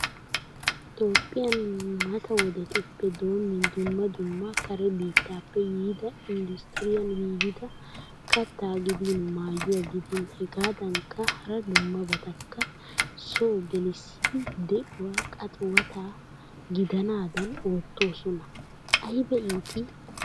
Toophpiyaan mata wodettuppe doomin dumma dumma kare biittappe yiida industiryaan giigida katta giddin maayuwaa gidin hegaddankka hara dummabatakka so gelisidi de'uwaa qaxiwatta gidnadan oottosona. Ayba itti.